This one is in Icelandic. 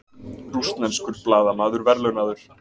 Rússneskur blaðamaður verðlaunaður